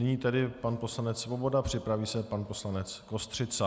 Nyní tedy pan poslanec Svoboda, připraví se pan poslanec Kostřica.